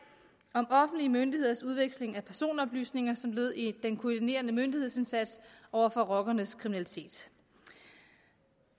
om offentlige myndigheders udveksling af personoplysninger som led i den koordinerende myndighedsindsats over for rockernes kriminalitet